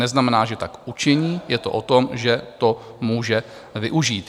Neznamená, že tak učiní, je to o tom, že to může využít.